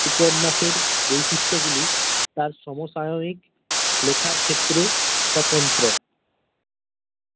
উপন্যাসের বৈশিষ্ট গুলি তাঁর সমসাময়িক লেখার ক্ষেত্রে স্বতন্ত্র্য।